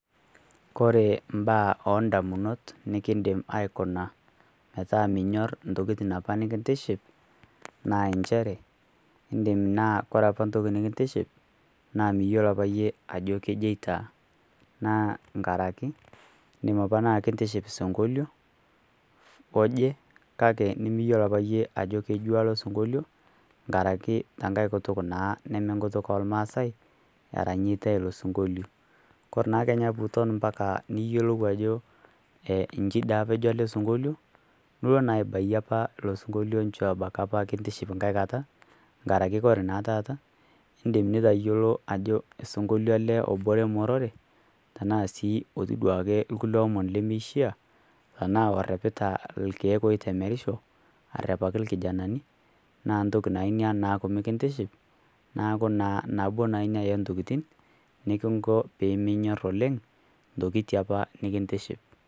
Kore mbaa oo ndamunot nikindim aaikuna metaa minyorr ntokitin apa nikintiship naa enchere indim naa kore apa ntoki nikintiship naa miyuolo apa yie ajo kejoitaa naa nkaraki indim apa naa kintiship sunkolio oje kake nimiyuolo apa yie ajo kejuaa lo sunkolio nkaraki te nkae kutuk neme nkutuk oo lmaasae eranyieitae. Kore naa kenya puuton mpaka niyuolou ajo nchi dei apa ejo ale sunkolio nulo naa aibai apa lo sunkolio nchoo abaki apa kintiship nkae kata nkaraki kore naa taata indim nitayuolo ajo sunkolio ale obore morore tanaa sii otii duake lkulie omon lemeishia tanaa orrepita lkeek ooitemerisho, arrepaki lkijanani naa ntoki naa inia naaku mikintiship naaku nabo naa inia e ntokitin nikinko piiminyorr ntokitin apa nikintiship.